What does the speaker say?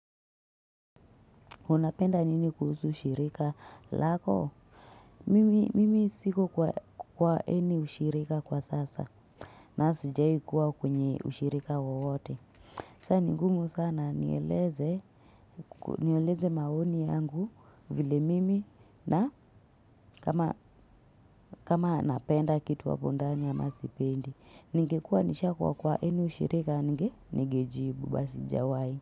Unapenda nini kuhusu ushirika lako? Mimi siko kwa any ushirika kwa sasa. Na sijawahi kuwa kwenye ushirika wowote. Saa ni ngumu sana nieleze maoni yangu vile mimi na kama napenda kitu hapo ndani ama sipendi. Ningekua nishakuwa kwa aby ushirika ningejibu but si jawai.